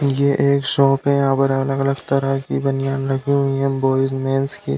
ये एक शॉप है। यहाँ पर अलग-अलग तरह की बनियान रखी हुई हैं बॉयज मेन्स की।